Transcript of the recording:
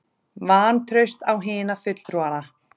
Vantraust á hina fulltrúana